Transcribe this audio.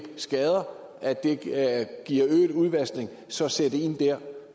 skader giver øget udvaskning og så sætte ind der